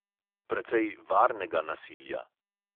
Precej varnega nasilja.